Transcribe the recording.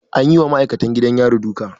An yi wa ma'aikacin gidan yari duka.